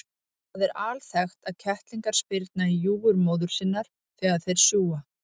Það er alþekkt að kettlingar spyrna í júgur móður sinnar þegar þeir sjúga.